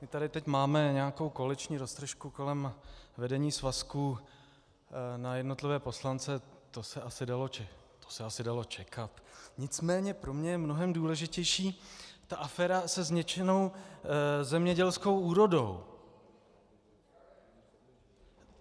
My tady teď máme nějakou koaliční roztržku kolem vedení svazku na jednotlivé poslance, to se asi dalo čekat, nicméně pro mě je mnohem důležitější ta aféra se zničenou zemědělskou úrodou.